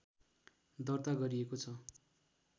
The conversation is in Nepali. दर्ता गरिएको छ